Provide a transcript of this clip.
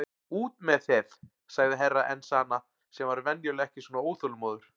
Út með þeð, sagði Herra Enzana sem var venjulega ekki svona óþolinmóður.